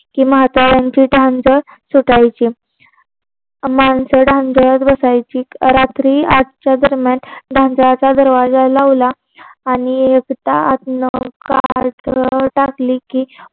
की म्हाताऱ्यांची धांदळ सुटायची. मानस धांदळत बसायची. रात्री आठच्या दरम्यान धांदळाचा दरवाजा लावला आणि एकदा आतां चादर टाकली कि